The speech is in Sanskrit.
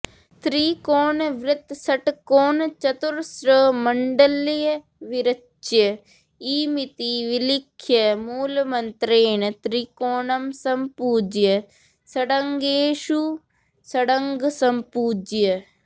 त्रिकोणवृत्तषट्कोणचतुरस्रमण्डलविरच्य इमिति विलिख्य मूलमन्त्रेण त्रिकोणं सम्पूज्य षडङ्गेषु षडङ्गं सम्पूज्य